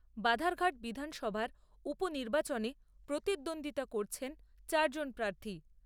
বাধারঘাট বিধানসভার উপ নির্বাচনে প্রতিদ্বন্দ্বিতা করছেন চার জন প্রার্থী।